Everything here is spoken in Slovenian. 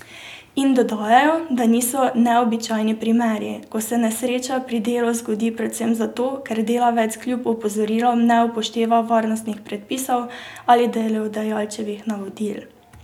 In dodajajo, da niso neobičajni primeri, ko se nesreča pri delu zgodi predvsem zato, ker delavec kljub opozorilom ne upošteva varnostnih predpisov ali delodajalčevih navodil.